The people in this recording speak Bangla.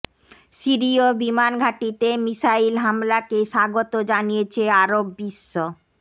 সিরিয় বিমান ঘাটিতে মিসাইল হামলাকে স্বাগত জানিয়েছে আরব বিশ্ব